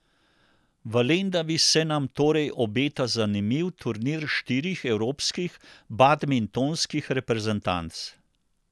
V Lendavi se nam torej obeta zanimiv turnir štirih evropskih badmintonskih reprezentanc.